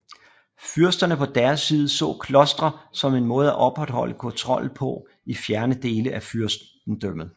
Fyrsterne på deres side så klostre som en måde at opretholde kontrollen på i fjerne dele af fyrstendømmet